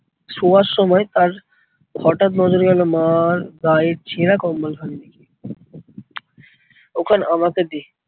শোয়ার সময় তার হঠাৎ নজরে গেল মার গায়ের ছেড়া কম্বলখানির দিকে। ওখান আমাকে দে